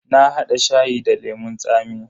Na hada shayi da lemun tsami.